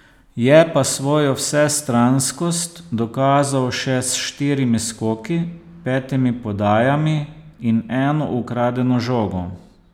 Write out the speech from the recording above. Je pa svojo vsestranskost dokazal še s štirimi skoki, petimi podajami in eno ukradeno žogo.